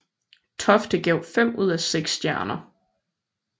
Tofte gav fem ud af seks stjerner